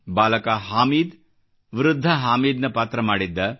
ಬಾಲಕ ಹಾಮೀದ್ ವೃದ್ಧ ಹಾಮೀದ್ ನ ಪಾತ್ರ ಮಾಡಿದ್ದ